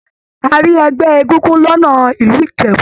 A rí ẹgbẹ egúngún lọnà ìlú Ìjẹ̀bú